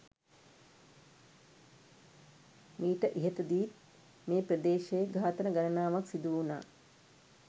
මීට ඉහතදීත් මේ ප්‍රදේශයේ ඝාතන ගණනාවක් සිදුවුණා.